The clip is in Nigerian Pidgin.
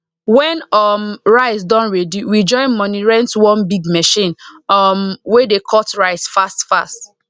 when um rice don ready we join money rent one big machine um wey dey cut rice fast fast